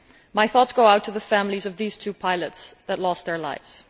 My thoughts go out to the families of these two pilots that lost their lives.